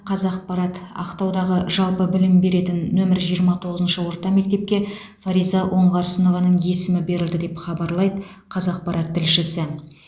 қазақпарат ақтаудағы жалпы білім беретін нөмірі жиырма тоғызыншы орта мектепке фариза оңғарсынованың есімі берілді деп хабарлайды қазақпарат тілшісі